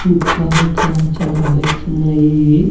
ఇంకా ఇక్కడ చాలా బైక్సున్నాయి .